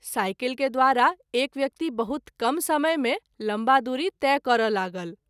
Cycle के द्वारा एक व्यक्ति बहुत कम समय मे लम्बा दूरी तय करय लागल।